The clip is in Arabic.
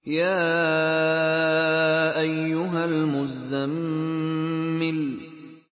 يَا أَيُّهَا الْمُزَّمِّلُ